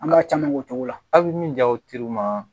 An ka caman k'o cogo la aw bɛ min ja o teriw ma